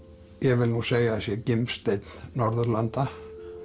ég vil nú segja að sé gimsteinn Norðurlanda